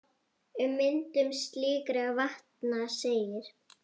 Um myndun slíkra vatna segir